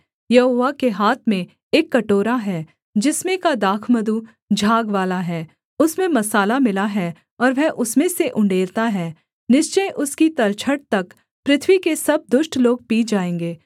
यहोवा के हाथ में एक कटोरा है जिसमें का दाखमधु झागवाला है उसमें मसाला मिला है और वह उसमें से उण्डेलता है निश्चय उसकी तलछट तक पृथ्वी के सब दुष्ट लोग पी जाएँगे